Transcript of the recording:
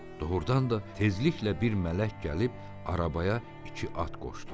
Doğurdan da tezliklə bir mələk gəlib arabaya iki at qoşdu.